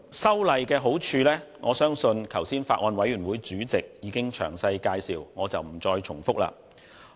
修例的好處，我相信剛才法案委員會主席已經詳細介紹，故此我不再重複。